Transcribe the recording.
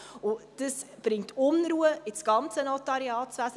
Dies bringt Unruhe in das ganze Notariatswesen.